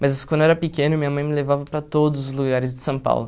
Mas quando eu era pequeno, minha mãe me levava para todos os lugares de São Paulo.